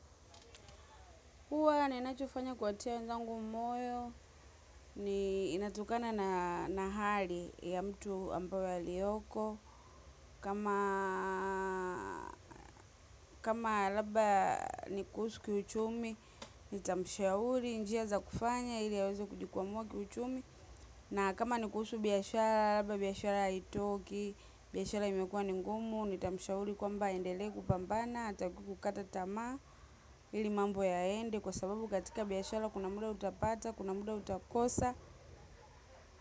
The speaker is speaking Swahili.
Huwa nina chofanya kuwatia wenzangu moyo, ni inatokana na hali ya mtu ambayoya liyoko. Kama labda nikuhusu kiuchumi, nita mshauri, njia za kufanya, ili aweza kujikwa mua kiuchumi. Na kama nikuhusu biashara, labda biashara haitoki, biashara imekua ningumu, nita mshauri kwa mba endeleeku pambana, hatakikukata tamaa, ili mambo yaende, kwa sababu katika biashara kuna muda utapata, kuna muda utakosa.